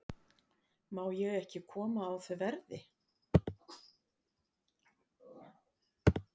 Má ég ekki koma á þau verði?